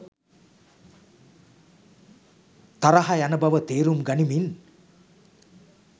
තරහ යන බව තේරුම් ගනිමින්